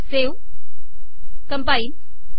save compile